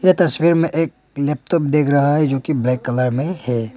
तस्वीर में एक लैपटॉप दिख रहा है जो की ब्लैक कलर में है।